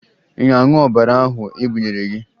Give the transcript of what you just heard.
Ị na-aṅụ ọbara ahụ e bunyere gị?